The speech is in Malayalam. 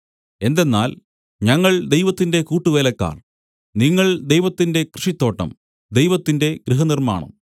എന്തെന്നാൽ ഞങ്ങൾ ദൈവത്തിന്റെ കൂട്ടുവേലക്കാർ നിങ്ങൾ ദൈവത്തിന്റെ കൃഷിത്തോട്ടം ദൈവത്തിന്റെ ഗൃഹനിർമ്മാണം